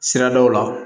Siradaw la